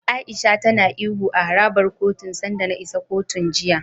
A'isha tana ihu a harabar kotun sanda na isa kotun, jiya.